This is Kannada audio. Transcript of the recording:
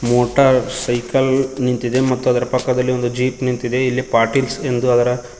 ಮೋಟಾರ್ ಸೈಕಲ್ ನಿಂತಿದೆ ಮತ್ತು ಅದರ ಪಕ್ಕದಲ್ಲಿ ಒಂದು ಜೀಪ್ ನಿಂತಿದೆ ಇಲ್ಲಿ ಪಾಟೀಲ್ಸ್ ಎಂದು ಅದರ--